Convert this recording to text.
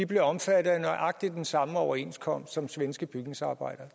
blev omfattet af nøjagtig den samme overenskomst som de svenske bygningsarbejdere